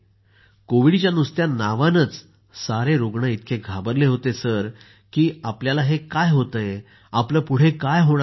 कोविडच्या नावानेच सारे रूग्ण इतके घाबरले होते सर की आपल्याला हे काय होत आहे आपलं पुढे काय होणार आहे